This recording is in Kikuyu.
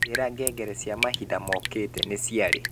njira ngengere cia mahinda mokĩte ni ciari